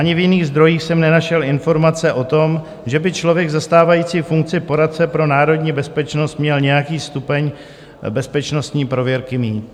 Ani v jiných zdrojích jsem nenašel informace o tom, že by člověk zastávající funkci poradce pro národní bezpečnost měl nějaký stupeň bezpečnostní prověrky mít.